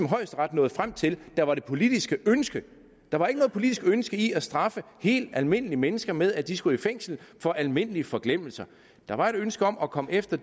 højesteret nåede frem til der var det politiske ønske der var ikke noget politisk ønske i at straffe helt almindelige mennesker med at de skulle i fængsel for almindelige forglemmelser der var et ønske om at komme efter